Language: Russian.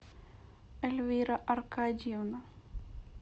эльвира аркадьевна